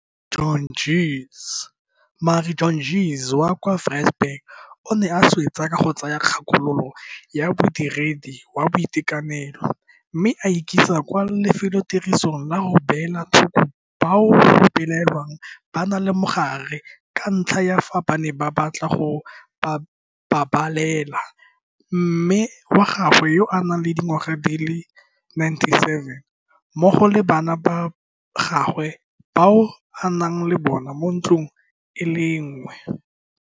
Marie Jantjies wa kwa Wi-tzenberg o ne a swetsa ka go tsaya kgakololo ya modiredi wa boitekanelo mme a ikisa kwa lefelotirisong la go beela thoko bao go belaelwang ba na le mogare ka ntlha ya fa a ne a batla go babalela mme wa gagwe yo a nang le dingwaga di le 97 mmogo le bana ba gagwe bao a nnang le bona mo ntlong e le nngwe.